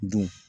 Dun